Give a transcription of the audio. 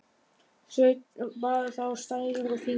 Sveinn bar þá stærri og þyngri.